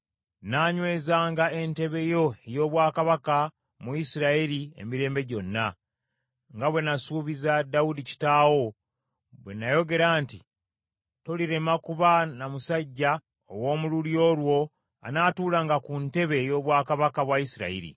nnaanyweza entebe yo ey’obwakabaka mu Isirayiri emirembe gyonna, nga bwe nasuubiza Dawudi kitaawo bwe n’ayogera nti, ‘Tolirema kuba na musajja ow’omu lulyo lwo anaatuulanga ku ntebe ey’obwakabaka bwa Isirayiri.’